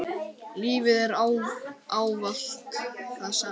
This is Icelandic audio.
Lífið er ávallt það sama.